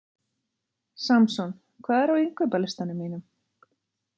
Samson, hvað er á innkaupalistanum mínum?